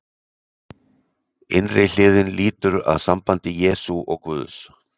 Innri hliðin lýtur að sambandi Jesú og Guðs.